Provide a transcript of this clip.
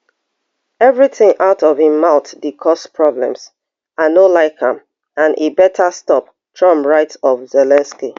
everything out of im mouth dey cause problems i no like am and e better stop trump write of zelensky